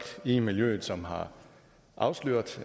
i miljøet som har afsløret